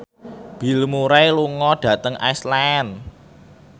Bill Murray lunga dhateng Iceland